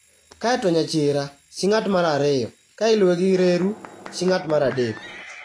kae to Nyachira (chi ng'ato mar ariyo) ka iluwe gi Reru (chi ng'ato mar adek),